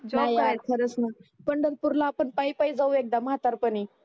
हा यार खरच ना पंढरपूरला आपण पाईपाई जाऊ एकदा म्हातारपणी